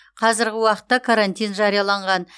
қазіргі уақытта карантин жарияланған